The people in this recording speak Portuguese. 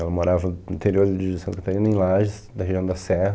Ela morava no interior de Santa Catarina, em Lages, da região da Serra.